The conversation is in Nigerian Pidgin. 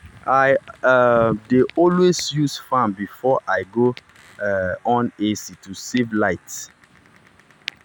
i um dey always use fan before i go um on ac to save light.